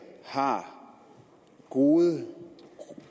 har gode